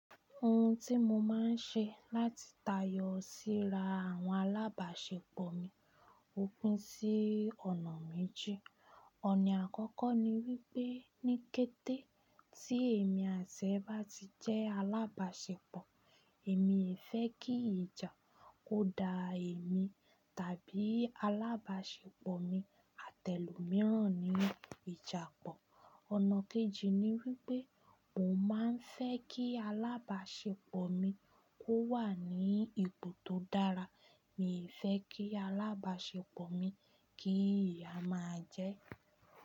Ohun tí mo máa ń ṣe láti tayọ síra àwọn alábàṣepọ̀ mi òpin sí ọ̀nà méjì. Ọ̀nà àkọ́kọ́ ni wípé ní kété tí èmi àti ẹ̀ bá ti jẹ́ alábàṣepọ̀, èmi fẹ́ kí ìjà kó da èmi tàbí alábàṣepọ̀ mi àti elómíran ní ìjàpọ̀. Ọ̀nà kejì ni wípé mo máa ń fẹ́ kí alábàṣepọ̀ mi kó wà ní ipò tó dára. Mi ò fẹ́ kí alábàṣepọ̀ mi kí ìyà máa jẹ́.